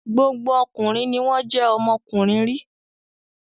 Gbogbo ọkùnrin ni wọ́n jẹ́ ọmọkùnrin rí.